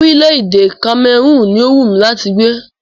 Orílẹ̀-èdè Kamẹrúùnù ni o wú mí láti gbé.